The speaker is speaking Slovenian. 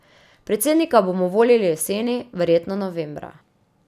Predsednika bomo volili jeseni, verjetno novembra.